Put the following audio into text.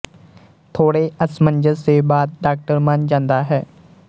ਥੋੜ੍ਹੇ ਅਸਮੰਜਸ ਦੇ ਬਾਅਦ ਡਾਕਟਰ ਮੰਨ ਜਾਂਦਾ ਹੈ